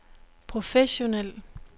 professionel